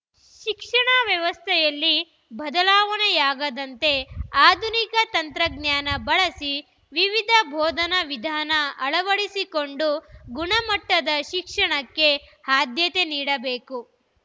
ಶಿಕ್ಷಣ ವ್ಯವಸ್ಥೆಯಲ್ಲಿ ಬದಲಾವಣೆಯಾದಂತೆ ಆಧುನಿಕ ತಂತ್ರಜ್ಞಾನ ಬಳಸಿ ವಿವಿಧ ಬೋಧನ ವಿಧಾನ ಅಳವಡಿಸಿಕೊಂಡು ಗುಣಮಟ್ಟದ ಶಿಕ್ಷಣಕ್ಕೆ ಆದ್ಯತೆ ನೀಡಬೇಕು